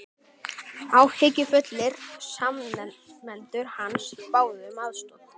Áhyggjufullir samnemendur hans báðu um aðstoð